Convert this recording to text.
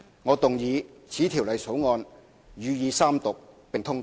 我動議此條例草案予以三讀並通過。